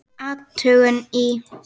Athugun í